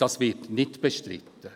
Dies wird nicht bestritten.